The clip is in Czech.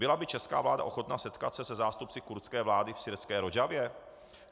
Byla by česká vláda ochotna setkat se se zástupci kurdské vlády v syrské Rodžavě?